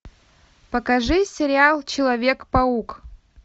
покажи сериал человек паук